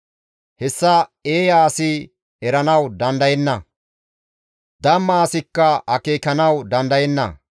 Hessa eeya asi eranawu dandayenna; damma asikka akeekanawu dandayenna.